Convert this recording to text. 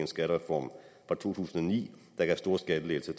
skattereform fra to tusind og ni der gav store skattelettelser